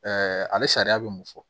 ale sariya bɛ mun fɔ